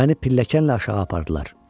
Məni pilləkanla aşağı apardılar.